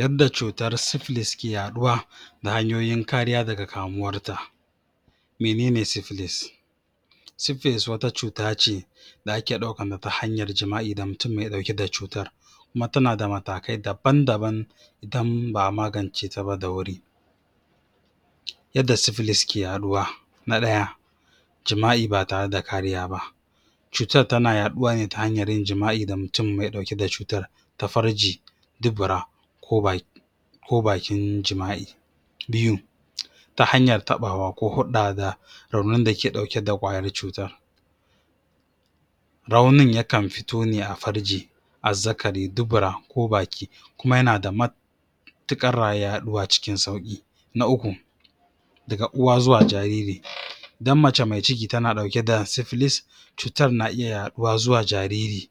yadda cutar splis ke ya ɗuwa ta hyanyoyin kariya daga kamuwar ta menene splis splis wata cuta ce da ake ɗaukan ta ta hanyar jima'i da mutun me ɗauke da cutar kuma tana da matakai daban daban ba a magance taba da wuri yadda splis ke ya ɗuwa na ɗaya jima/i ba tare da kariya ba cutar tana yaɗuwa ne ta hanyar yin jima'i da mutun me ɗauke da cutar ta farji dubura ko bakin jima'i biyu ta hanyar taɓawa ko hulɗa da raunin da ke ɗauke da ƙwayar cutar raunin ya kan fito ne a farji azzaraki dubura ko baki kuma yana da mutuƙar ya ɗuwa cikin sauki na uku daga uwa zuwa jariri idan mace mai ciki tana ɗauke da splis cutar na iya ya ɗuwa zuwa jariri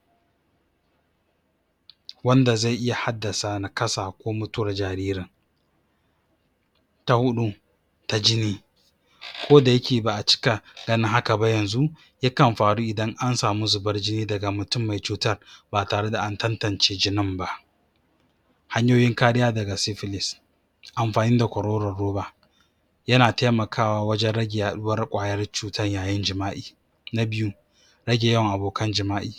wanda zai iya haddasa nakasa ko mutuwar jaririn ta hudu ta jini ko da yake ba a cika ganin haka ba yanzu ya kan faru idan ansamu zubar jini daga mutun me cutar ba tare da antantance jini ba hanyoyin kariya daga splish amafani da kwaroran ruba yana taimakawa wajan rage ya ɗuwar ƙwayar cutar yayin jima'i na biyu rage yawan abokan jima'i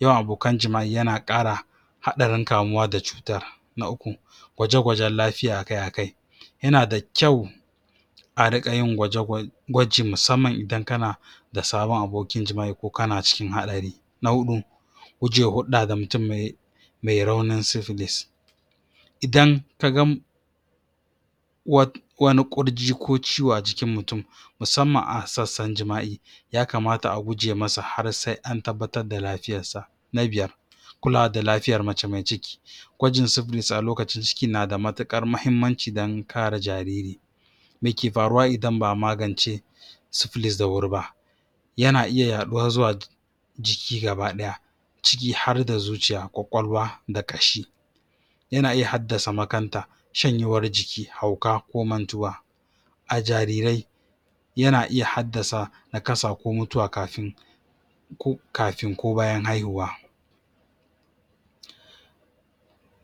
yawan abokan jima'i yana ƙara haɗarin kamuwa da cutar na uku gwaje gwajan lafiya akai akai yana da kyau a riƙa yin gwaji musamman idan kana da sabon abokin jima'i ko kana cikin ɗari na hudu gujewa hulɗa da mutun me raunin splis idan kaga iwani ƙurji ko ciwo a jikin mutun musamman a sassan jima'i ya kamata a guje masa har sai antabbatar da lafiyarsa na biyar kulawa da lafiyar mace mai ciki gwajin splis a lokacin ciki nada matuƙar mahimmanci dan kare jariri meke faruwa idan ba a magance splish da wuri ba yana iya ya ɗuwa zuwa jiki gaba ɗaya jiki har da zuciya ƙwaƙwalwa da ƙashi yana iya haddasa makanta shanyewar jiki hauka ko mantuwa a jarirai yana iya haddasa nakasa ko mutuwa kafin ko bayan haihuwa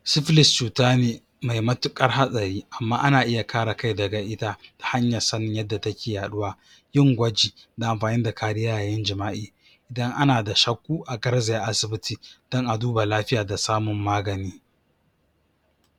splis cuta ne mai matuƙar hatsari amma ana iya kare kai daga ita ta hanyar sanin yadda take ya ɗuwa yin gwaji na amfani da kariya yayin jima'i idan ana da shakku a garzaya asibiti dan a duba lafiya da samun magani